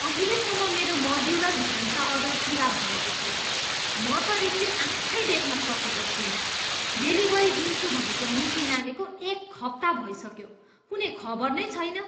अहिलेसम्म मेरो मोड्युलर भान्सा अर्डर पुरा भएको छैन। म त रिसले आँखै देख्न सकेको छुइनँ। डेलिभरी दिन्छु भनेको मिति नाघेको एक हप्ता भइसक्यो, कुनै खबर नै छैन!